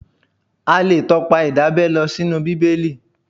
A lè tọpa Ìdábẹ́ lọ sínú Bíbélì.